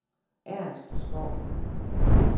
Ernst Skou